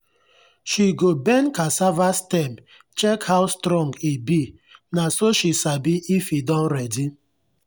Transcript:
she go bend cassava stem check how strong e be na so she sabi if e don ready.